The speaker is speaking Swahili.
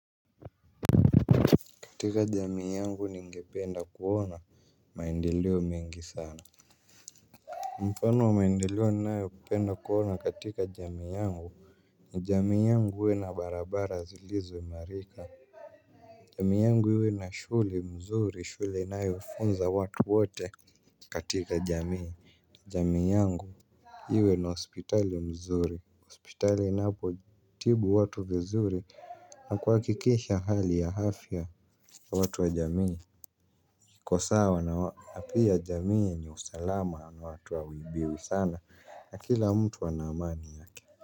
Katika jamii yangu ni ningependa kuona maendeleo mengi sana. Mfano wa maendeleo ninayopenda kuona katika jamii yangu ni jamii yangu iwe na barabara zilizoimarika. Jamii yangu iwe na shule mzuri, shule inayofunza watu wote katika jamii. Jamii yangu iwe na hospitali mzuri. Hospitali inapotibu watu vizuri na kuhakikisha hali ya afya watu wa jamii iko sawa, na pia jamii yenye usalama na watu hawaibiwi sana na kila mtu ana amani yake.